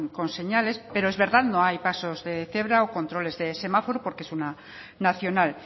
con señales pero es verdad no hay pasos de cebra o controles de semáforos porque es una nacional